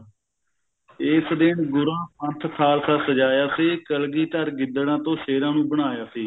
ਏਸ ਦਿਨ ਗੂਰਾਂ ਪੰਥ ਖ਼ਾਲਸਾ ਸਜਾਇਆ ਸੀ ਕਲਗੀਧਰ ਗਿੱਦੜਾ ਤੋਂ ਸ਼ੇਰਾਂ ਨੂੰ ਬਣਾਇਆ ਸੀ